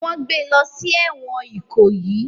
Wọ́n gbé e lọ sí ẹ̀wọ̀n Ikoyi